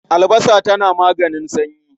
Albasa tana maganin sanyi.